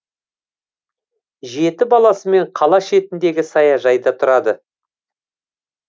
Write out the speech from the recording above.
жеті баласымен қала шетіндегі саяжайда тұрады